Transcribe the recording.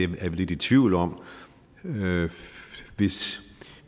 vi lidt i tvivl om hvis